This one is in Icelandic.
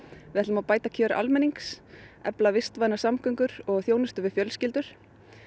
við ætlum að bæta kjör almennings efla vistvænar samgöngur og þjónustu við fjölskyldur